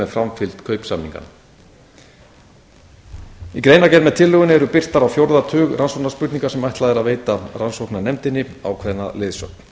framfylgd kaupsamninganna í greinargerð með tillögunni eru birtar á fjórða tug rannsóknarspurninga sem ætlað er að veita rannsóknarnefndinni ákveðna leiðsögn